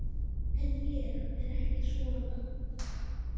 En ég er ekki svona.